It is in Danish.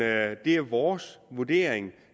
at det er vores vurdering